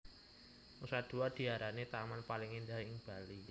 Nusa Dua diarani taman paling endah ing Bali